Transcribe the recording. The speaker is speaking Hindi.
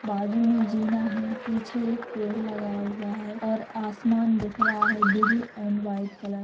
बाजू में जीना है पीछे एक पेड़ लगा हुआ है और आसमान दिख रहा है ब्लू एंड वाइट कलर --